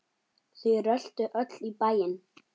Þau röltu öll í bæinn.